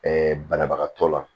banabagatɔ la